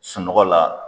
Sunɔgɔ la